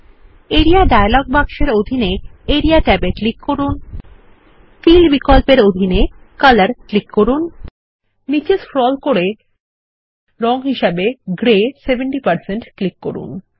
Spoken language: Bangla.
আরিয়া ডায়ালগ বাক্সের ফিল বিকল্পটির অধীন আরিয়া ট্যাবে ক্লিক করুন কলর নির্বাচন করুন এবং নীচে স্ক্রল এবং রঙ গ্রে 70 এ ক্লিক করুন